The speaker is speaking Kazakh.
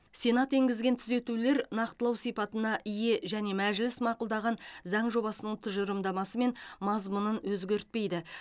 сенат енгізген түзетулер нақтылау сипатына ие және мәжіліс мақұлдаған заң жобасының тұжырымдамасы мен мазмұнын өзгертпейді